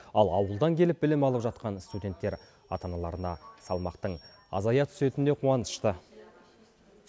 ал ауылдан келіп білім алып жатқан студенттер ата аналарына салмақтың азая түсетініне қуанышты